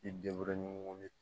I denw de